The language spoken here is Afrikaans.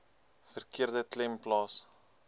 verkeerde klem plaas